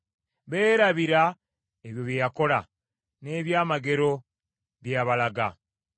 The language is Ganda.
Beerabira ebyo bye yakola, n’ebyamagero bye yabalaga.